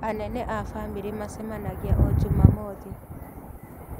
Anene a bamĩrĩ macemanagia o Jumamothi.